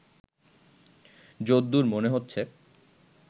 যদ্দুর মনে হচ্ছে